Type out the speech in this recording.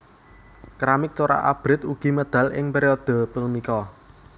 Keramik corak abrit ugi medal ing periode punika